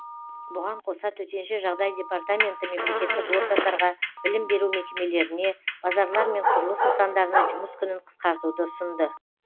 бұған қоса төтенше жағдай департаменті мемлекеттік органдарға білім беру мекемелеріне базарлар мен құрылыс нысандарына жұмыс күнін қысқартуды ұсынды